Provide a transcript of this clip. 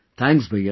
Thank you sir